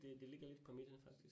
Det det ligger lidt på midten faktisk